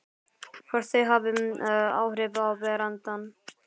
Hvort þau hafi áhrif á berandann.